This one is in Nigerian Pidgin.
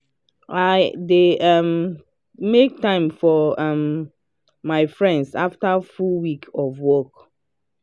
i dey um make time for um my friends after full week of work.